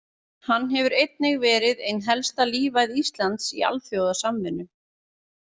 Hann hefur einnig verið ein helsta lífæð Íslands í alþjóðasamvinnu.